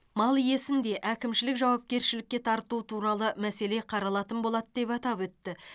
мал иесін де әкімшілік жауапкершілікке тарту туралы мәселе қаралатын болады деп атап өтті